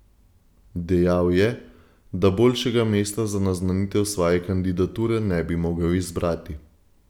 Dejal je, da boljšega mesta za naznanitev svoje kandidature ne bi mogel izbrati.